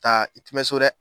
Taa i tɛ mɛn so dɛ.